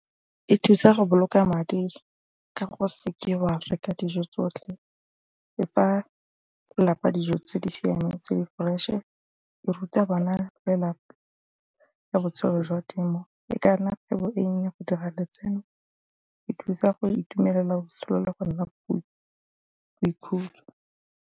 E thusa go boloka madi ka go se ke wa dijo tsotlhe e fa lelapa dijo tse di siameng tse di fresh-e e ruta bana lelapa ka botshelo jwa temo e ka nna kgwebo e nnye go dira letseno e thusa go itumelela botshelo le go nna boikhutso.